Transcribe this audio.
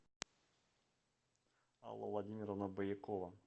алла владимировна боякова